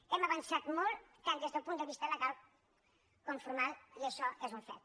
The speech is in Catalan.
hem avançat molt tant des del punt de vista legal com formal i això és un fet